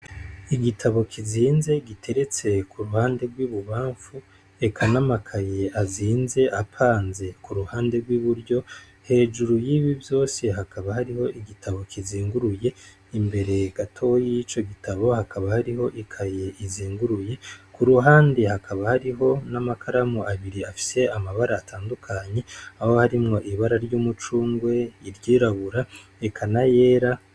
Igitabo kizinze giteretse ku ruhande rw'ibubamfu eka namakaye azinze apanze ku ruhande rw'iburyo hejuru y'ibi vyose hakaba hariho igitabo kizinguruye imbere gato y'ico gitabo hakaba hariho ikaye izinguruye ku ruhande hakaba hariho n'amakaramu abiri afise amabara atandukanyi aho harimwo ibara ry'umucungwe iryirabura eka nayera.